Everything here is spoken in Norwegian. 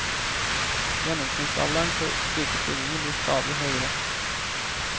Gjennomsnittsalderen for slike stillinger blir stadig høyere.